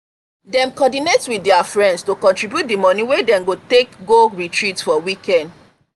dem coordinate with their friends to contribute the money wey dem go take go retreat for weekend.